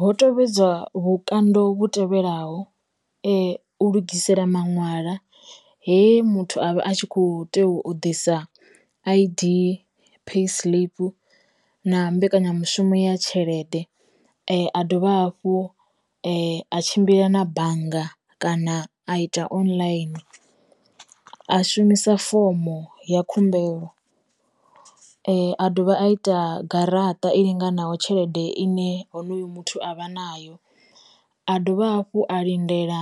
Ho tovhedzwa vhukando vhu tevhelaho, u lugisela maṋwalwa he muthu avha a tshi kho tea u ḓisa I_D, pay slip, na mbekanyamushumo ya tshelede, a dovha hafhu a tshimbila na bannga kana a ita online, a shumisa fomo ya khumbelo, a dovha a ita garaṱa i linganaho tshelede ine honoyo muthu avha nayo, a dovha hafhu a lindela